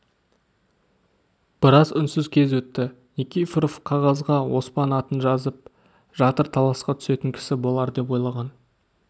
біраз үнсіз кез өтті никифоров қағазға оспан атын жазып жатыр таласқа түсетін кісі болар деп ойлаған